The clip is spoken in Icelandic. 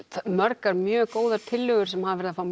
margar mjög góðar tillögur sem hafa verið að fá